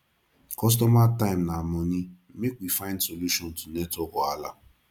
customer time na money make we find solution to network wahala